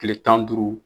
Tile tan ni duuru